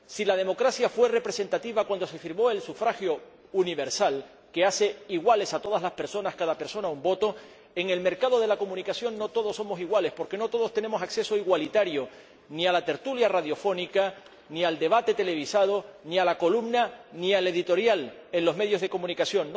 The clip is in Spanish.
Si la democracia fue representativa cuando se firmó el sufragio universal que hace iguales a todas las personas —cada persona un voto—, en el mercado de la comunicación no todos somos iguales, porque no todos tenemos acceso igualitario ni a la tertulia radiofónica, ni al debate televisado, ni a la columna, ni al editorial en los medios de comunicación.